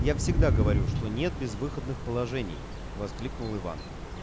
я всегда говорю что нет безвыходных положений воскликнул иван